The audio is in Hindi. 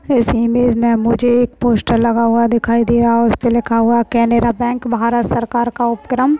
इस इमेज में मुझे एक पोस्टर लगा हुआ दिखाई दे रहा है उस पे लिखा हुआ है केनरा बैंक भारत सरकार का उपक्रम।